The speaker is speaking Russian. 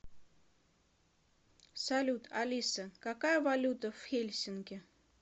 салют алиса какая валюта в хельсинки